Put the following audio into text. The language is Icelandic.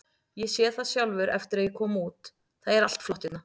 Ég sé það sjálfur eftir að ég kom út, það er allt flott hérna.